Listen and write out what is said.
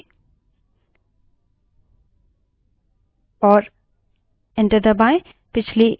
prompt में history type करें